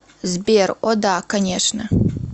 сбер о да конечно